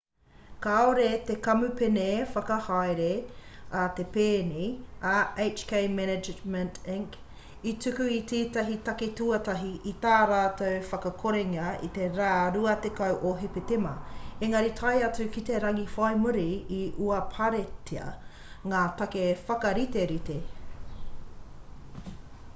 kāore te kamupene whakahaere a te pēni a hk management inc i tuku i tētahi take tuatahi i tā rātou whakakorenga i te rā 20 o hepetema engari tae atu ki te rangi whai muri i uaparetia ngā take whakariterite